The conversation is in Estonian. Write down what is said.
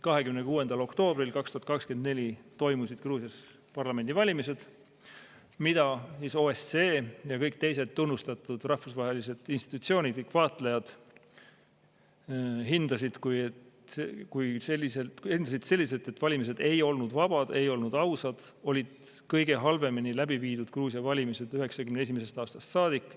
26. oktoobril 2024 toimusid Gruusias parlamendivalimised, mida OSCE ja kõik teised tunnustatud rahvusvahelised institutsioonid ning vaatlejad hindasid selliselt, et valimised ei olnud vabad, ei olnud ausad, olid kõige halvemini läbi viidud Gruusia valimised 1991. aastast saadik.